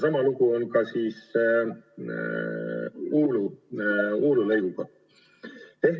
Sama lugu on ka Uulu lõiguga.